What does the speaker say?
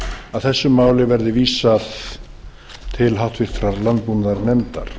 að þessu máli verði vísað til háttvirtrar landbúnaðarnefndar